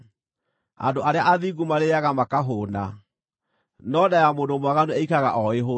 Andũ arĩa athingu marĩĩaga makahũũna, no nda ya mũndũ mwaganu ĩikaraga o ĩhũtiĩ.